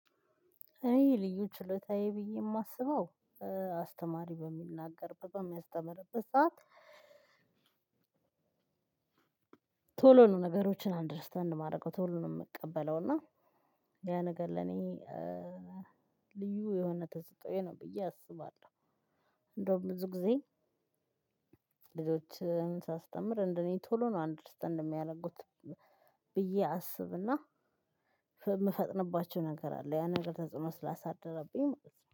እኔ ልዩ ችሎታዬ ብዬ የማስበው አስተማሪ በሚናገር በሚያስተምርበት ሰዓት። ቶሎ ነው ነገሮችን አንደርስታንድ የማደርገው ቶሎ ነው የምቀበለው። እና ያ ነገር ለኔ ልዩ የሆነ ተስጦኦዎ ነው ብዬ አስባለሁ። እንደውም ብዙ ጊዜ ልጆችን ሳስተምር እንደእኔ ቶሎ ነው አንደርስታንድ የሚያደርጉት። ብዬ አስብና የምፈጥንባቸው ነገር አለ ያን ነገር ተጽዕኖ ስላሳደረብኝ